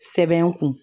Sɛbɛn kun